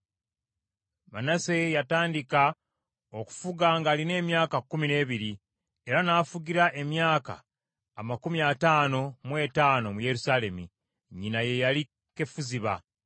Manase yatandika okufuga ng’alina emyaka kkumi n’ebiri, era n’afugira emyaka amakumi ataano mu etaano mu Yerusaalemi. Nnyina ye yali Kefuziba.